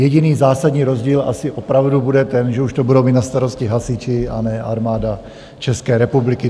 Jediný zásadní rozdíl asi opravdu bude ten, že už to budou mít na starosti hasiči, a ne Armáda České republiky.